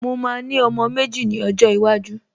Mo máa ní ọmọ méjì ni ọjọ́ iwájú